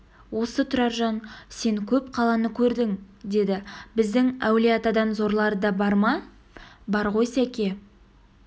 осы тұраржан сен көп қаланы көрдің деді біздің әулие-атадан зорлары да бар ма бар ғой сәке